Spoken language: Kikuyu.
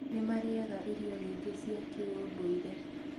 nĩmarĩaga irio nyingĩ cia kĩũndũire